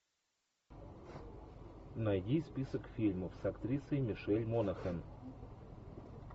найди список фильмов с актрисой мишель монахэн